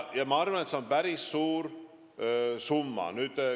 Ma arvan, et see on päris suur summa.